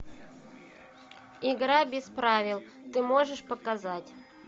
игра без правил ты можешь показать